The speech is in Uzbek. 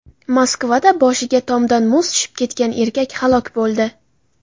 Moskvada boshiga tomdan muz tushib ketgan erkak halok bo‘ldi.